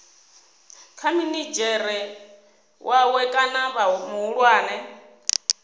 kha minidzhere wawe kana muhulwane